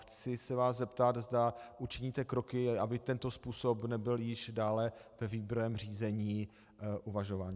Chci se vás zeptat, zda učiníte kroky, aby tento způsob nebyl již dále ve výběrovém řízení uvažován.